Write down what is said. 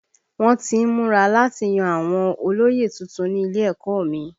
Wọ́n tí ń múra láti yan àwọn olóyè tuntun ní ilé ẹ̀kọ́ ọ mi